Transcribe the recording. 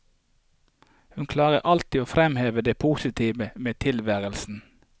Hun klarte alltid å fremheve det positive med tilværelsen.